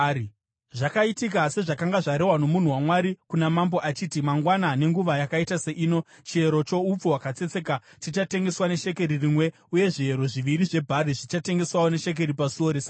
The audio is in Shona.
Zvakaitika sezvakanga zvarehwa nomunhu waMwari kuna mambo achiti, “Mangwana, nenguva yakaita seino, chiyero choupfu hwakatsetseka chichatengeswa neshekeri rimwe uye zviyero zviviri zvebhari zvichatengeswawo neshekeri pasuo reSamaria.”